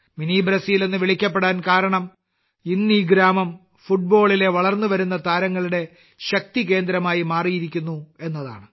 mini Brazil എന്ന് വിളിക്കപ്പെടാൻ കാരണം ഇന്ന് ഈ ഗ്രാമം ഫുട്ബോളിലെ വളർന്നുവരുന്ന താരങ്ങളുടെ ശക്തികേന്ദ്രമായി മാറിയിരിക്കുന്നു എന്നതാണ്